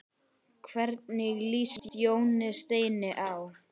Hvernig líst Jóni Steini á?